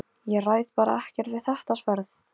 Bergþóra, ég kom með fjörutíu og átta húfur!